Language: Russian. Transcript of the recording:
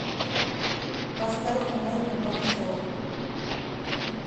поставь найка борзова